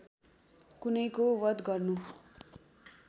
कुनैको वध गर्नु